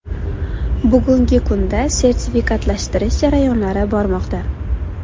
Bugungi kunda sertifikatlashtirish jarayonlari bormoqda.